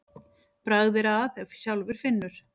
Bragð er að ef sjálfur finnur.